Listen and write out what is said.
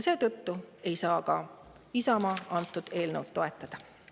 Seetõttu ei saa Isamaa seda eelnõu toetada.